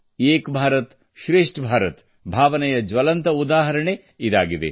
ಏಕ್ ಭಾರತ್ ಶ್ರೇಷ್ಠ ಭಾರತ್ ಭಾವನೆಯ ಜ್ವಲಂತ ಉದಾಹರಣೆ ಇದಾಗಿದೆ